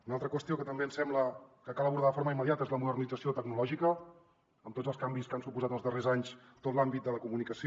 una altra qüestió que també ens sembla que cal abordar de forma immediata és la modernització tecnològica amb tots els canvis que ha suposat els darrers anys a tot l’àmbit de la comunicació